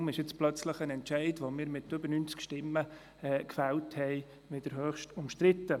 Und deshalb ist plötzlich ein Entscheid, den wir mit mehr als 90 Stimmen gefällt haben, wieder höchst umstritten.